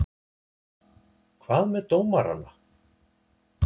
Hvað með dómarana?